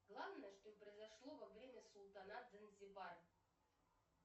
главное что произошло во время султанат занзибар